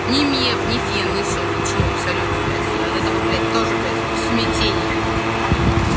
ни меф ни фен ни соль ничего абсолютно блять я от этого блять тоже блять в смятении